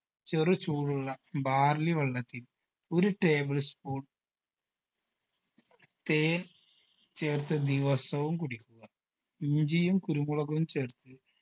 ചെറുചൂടുള്ള barley വെള്ളത്തിൽ ഒരു table spoon തേൻ ചേർത്ത് ദിവസവും കുടിക്കുക ഇഞ്ചിയും കുരുമുളകും ചേർത്ത്